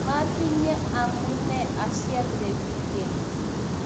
matinye amune asiatebi keny